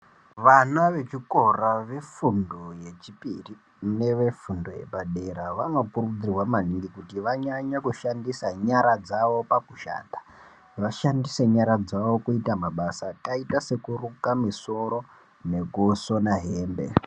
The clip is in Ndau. Vana vechikora vefundo yechipiri nevefundo yepadera vanokurudzirwa maningi kuti vanyanye kushandisa nyara dzavo pakushanda. Vashandise nyara dzavo pakuita mabasa akaita sekuruka misoro nesona hembe.